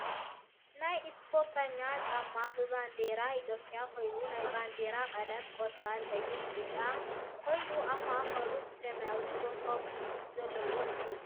ናይ እስፖርተኛታት ጫማ ብ ባንዴራ ኢትዮጵያ ኮይና ናይ ባንዴራ ቀለም ቆፃል፣ ቀይሕ፣ ቢጫ ን ኮይኑ ኣብ ማእከሉ ብሰማያዊ ኮኮብ ዘለዎ እዩ ።